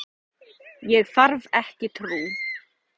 Ég þarf ekki trú.